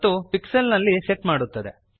ಮತ್ತು ಪಿಕ್ಸೆಲ್ಸ್ ನಲ್ಲಿ ಸೆಟ್ ಮಾಡುತ್ತದೆ